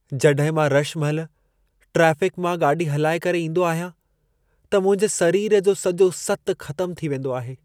जॾहिं मां रश महिल ट्राफिक़ मां गाॾी हलाए करे ईंदो आहियां, त मुंहिंजे सरीर जो सॼो सतु ख़तम थी वेंदो आहे।